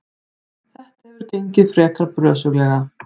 Þetta hefur gengið frekar brösuglega.